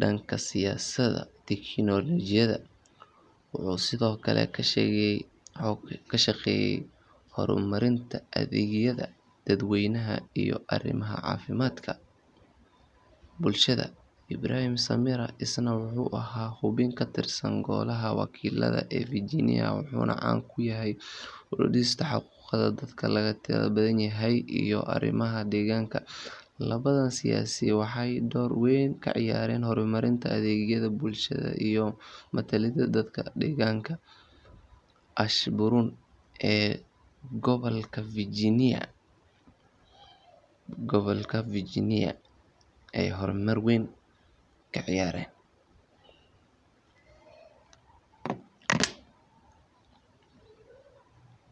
dhanka siyaasadda tiknoolajiyadda. Wuxuu sidoo kale ka shaqeeyay horumarinta adeegyada dadweynaha iyo arrimaha caafimaadka bulshada. Ibraheem Samirah isna wuxuu ahaa xubin ka tirsan Golaha Wakiilada ee Virginia, wuxuuna caan ku yahay u doodista xuquuqda dadka laga tirada badan yahay iyo arrimaha deegaanka. Labadan siyaasi waxay door weyn ka ciyaareen horumarinta adeegyada bulshada iyo matalaadda dadka deegaanka Ashburn ee gobolka Virginia.